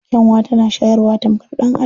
Karya tana shayarwa tamkar ɗan'adam.